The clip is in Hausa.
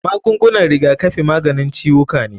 Magungunan rigakafi maganin ciwuka ne.